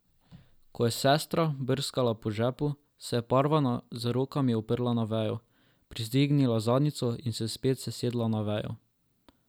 Ko je sestra brskala po žepu, se je Parvana z rokami oprla na vejo, privzdignila zadnjico in se spet sesedla na vejo.